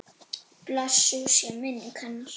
Blessuð sé minning hennar!